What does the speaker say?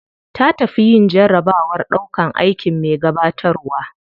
Ta tafi yin jarabawar ɗaukan aikin me gabatarwa.